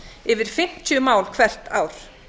yfir fimmtíu mál hvert ár